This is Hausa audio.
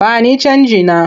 Ba ni canjina!